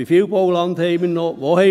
Wie viel Bauland haben wir noch?